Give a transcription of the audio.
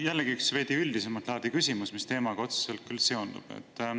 Jällegi üks veidi üldisemat laadi küsimus, mis küll teemaga otseselt seondub.